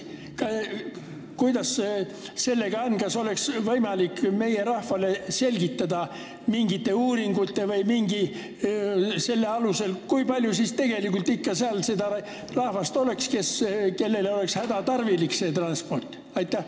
Kuidas sellega on, kas oleks võimalik meie rahvale selgitada mingite uuringute või millegi muu alusel, kui palju siis tegelikult seal seda rahvast on, kellele see transport hädatarvilik oleks?